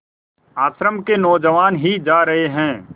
आश्रम के नौजवान ही जा रहे हैं